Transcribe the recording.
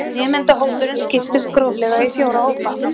Nemendahópurinn skiptist gróflega í fjóra hópa